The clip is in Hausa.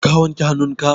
ka wanke hannunka?